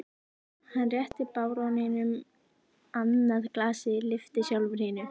Hann rétti baróninum annað glasið, lyfti sjálfur hinu.